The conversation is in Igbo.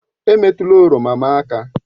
Emetụla oroma m aka!